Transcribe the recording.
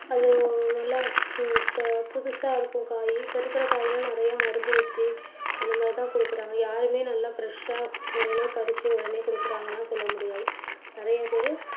அது நல்ல புத~ புதுசா இருக்கும் காய். இப்போ இருக்கிற காய் எல்லாம் நிறைய மருந்து ஊத்தி அந்த மாதிரி தான் கொடுக்குறாங்க. யாருமே நல்லா fresh ஆ உடனே பறிச்சு உடனே கொடுக்கிறாங்கன்னு எல்லாம் சொல்ல முடியாது. நிறைய பேரு